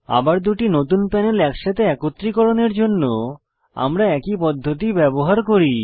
আবার দুটি নতুন প্যানেল একসাথে একত্রীকরণের জন্য আমরা একই পদ্ধতি ব্যবহার করি